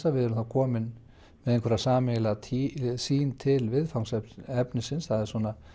að við erum komin með einhverja sameiginlega sýn til viðfangsefnisins það er